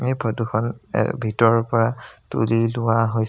এই ফটো খন এ ভিতৰৰ পৰা তুলি লোৱা হৈ --